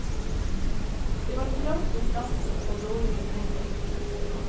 Det var trangt om plassen, og dårlig med penger.